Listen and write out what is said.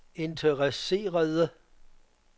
interesserede